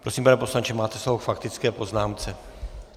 Prosím, pane poslanče, máte slovo k faktické poznámce.